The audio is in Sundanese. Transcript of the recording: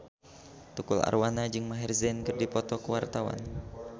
Tukul Arwana jeung Maher Zein keur dipoto ku wartawan